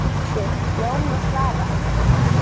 Össur, Jón og Svavar!